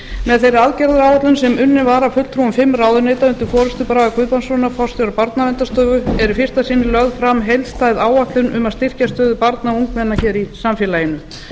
með þeirri aðgerðaáætlun sem unnin var af fulltrúum fimm ráðuneyta undir forustu braga guðbrandssonar forstjóra barnaverndarstofu er í fyrsta sinn lögð fram heildstæð áætlun um að styrkja stöðu barna og ungmenna hér í samfélaginu